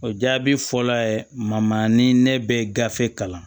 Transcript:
O jaabi fɔlɔ ma ni ne bɛ gafe kalan